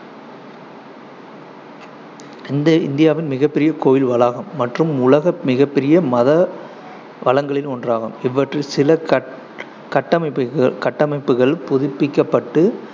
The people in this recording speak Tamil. இந்த இந்தியாவின் மிகப்பெரிய கோயில் வளாகம் மற்றும் உலக மிகப்பெரிய மத வளங்களில் ஒன்றாகும். இவற்றில் சில கட்~ கட்டமைப்பு கட்டமைப்புகள் புதுப்பிக்கப்பட்டு,